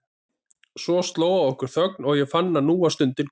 Svo sló á okkur þögn og ég fann að nú var stundin komin.